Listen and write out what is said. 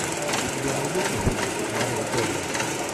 у тебя найдется фильм мария белла